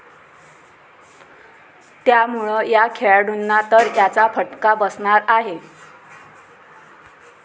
त्यामुळं या खेळाडूंना तर याचा फटका बसणार आहे.